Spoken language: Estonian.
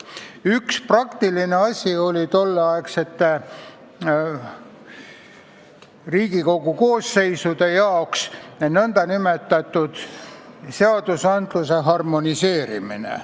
Üks praktilisi asju tolleaegsetes Riigikogu koosseisudes oli nn seadusandluse harmoneerimine.